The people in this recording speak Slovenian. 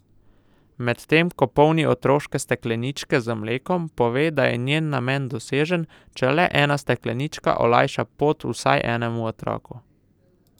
Medtem ko polni otroške stekleničke z mlekom, pove, da je njen namen dosežen, če le ena steklenička olajša pot vsaj enemu otroku.